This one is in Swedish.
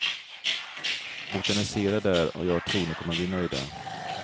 Botanisera där, och jag tror ni kommer att bli nöjda.